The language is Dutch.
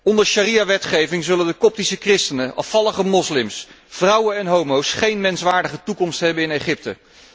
Onder sharia wetgeving zullen de Koptische christenen, afvallige moslims, vrouwen en homo's geen menswaardige toekomst hebben in Egypte.